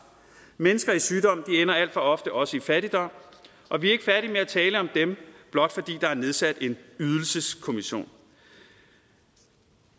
mennesker i sygdom ender alt for ofte også i fattigdom og vi er ikke færdig med at tale om dem blot fordi der er nedsat en ydelseskommission